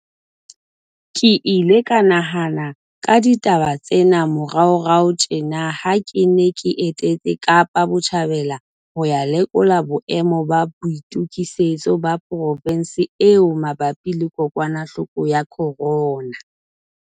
Ke ile ka nahana ka ditaba tsena moraorao tjena ha ke ne ke etetse Kapa Botjhabela ho ya lekola boemo ba boitokisetso ba provense eo mabapi le kokwanahloko ya corona.